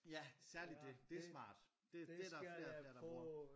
Ja særligt dét. Det smart det det er der flere der bruger